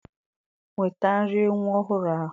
Nweta nri nwa ọhụrụ ahụ.